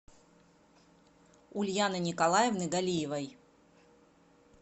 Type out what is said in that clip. ульяны николаевны галиевой